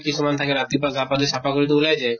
কিছুমান থাকে ৰাতিপুৱা গা পা ধুই চাফা কৰি তো ওলাই যায়